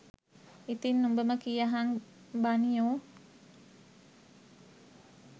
ඉතිං උඹම කියහං බනියෝ